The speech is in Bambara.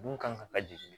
Mun kan ka lajigin